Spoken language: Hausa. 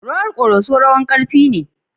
Rawar Koroso rawar ƙarfi ne.